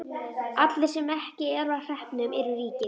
Allir sem ekki eru á hreppnum eru ríkir.